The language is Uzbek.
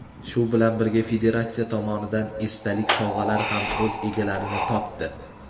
shu bilan birga federatsiya tomonidan esdalik sovg‘alari ham o‘z egalarini topdi.